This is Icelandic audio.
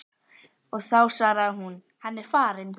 og þá svaraði hún: Hann er farinn.